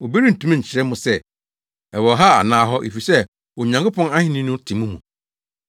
obi rentumi nkyerɛ mo sɛ, ‘Ɛwɔ ha anaa hɔ!’ Efisɛ Onyankopɔn ahenni no te mo mu.”